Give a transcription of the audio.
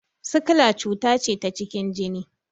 Sikila cuta ce ta cikin jini